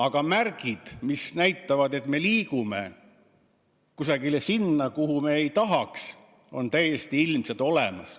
Aga märgid, mis näitavad, et me liigume kusagile sinna, kuhu me ei tahaks, on täiesti ilmselt olemas.